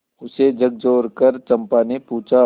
उसे झकझोरकर चंपा ने पूछा